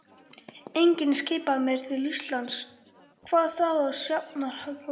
Enginn skipaði mér til Íslands, hvað þá á Sjafnargötu.